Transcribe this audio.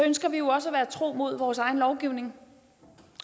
ønsker vi jo også at være tro mod vores egen lovgivning